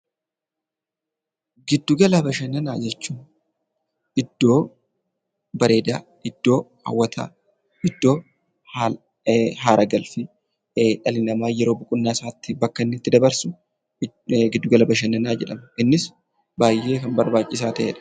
Giddugala Bashannanaa jechuun iddoo bareedaa, iddoo hawwataa, iddoo aaragalfii dhalli namaa yeroo boqonnaa isaatii bakka inni itti dabarsu giddugala Bashananaa jedhama. Innis baay'ee kan barbaachisaa ta'edha.